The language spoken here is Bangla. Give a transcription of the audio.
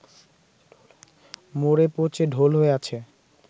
মরে পচে ঢোল হয়ে আছে